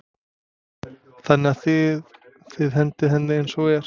Þannig að þið, þið hendið henni eins og er?